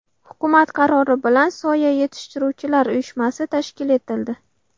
Hukumat qarori bilan Soya yetishtiruvchilar uyushmasi tashkil etildi.